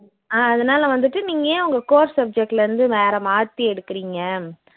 அஹ் அதனால வந்துட்டு நீங்க ஏன் உங்க core subject ல இருந்து வேற மாத்தி எடுக்குறிங்க